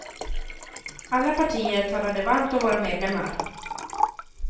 Alla partier talade varmt om våra medlemmar.